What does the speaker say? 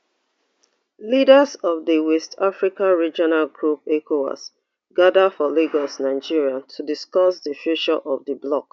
leaders of di west africa regional group ecowas gada for lagos nigeria to discuss di future of di bloc